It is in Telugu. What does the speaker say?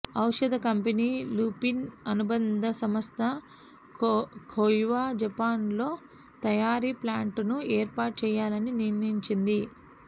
ఔషధ కంపెనీ లుపిన్ అనుబంధ సంస్థ క్యోవ జపాన్లో తయారీ ప్లాంట్ను ఏర్పాటు చేయాలని నిర్ణయించింది